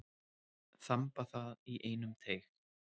Þamba það í einum teyg.